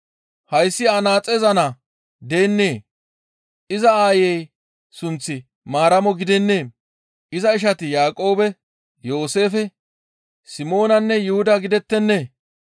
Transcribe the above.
Hayssi anaaxeza naa deennee? Iza aayey sunththi Maaramo gidennee? Iza ishati Yaaqoobe, Yooseefe, Simoonanne Yuhuda gidettennee?